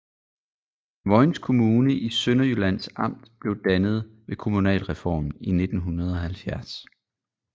Vojens Kommune i Sønderjyllands Amt blev dannet ved kommunalreformen i 1970